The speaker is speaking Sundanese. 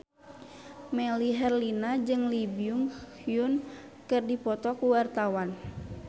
Melly Herlina jeung Lee Byung Hun keur dipoto ku wartawan